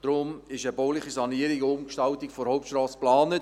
Deshalb ist eine bauliche Sanierung und Umgestaltung der Hauptstrasse geplant.